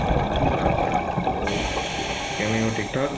ਅੱਛਾ ਹੋਰ ਕਿਵੇਂ ਹੋ ਠੀਕ ਠਾਕ